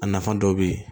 A nafa dɔw bɛ ye